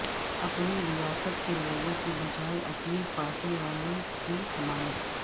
اپنی ریاست کے لوگوں کے بجائے اپنی پارٹی والوں کی حمایت